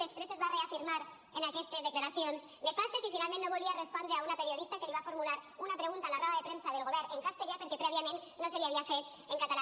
després es va reafirmar en aquestes declaracions nefastes i finalment no volia respondre una periodista que li va formular una pregunta a la roda de premsa del govern en castellà perquè prèviament no se li havia fet en català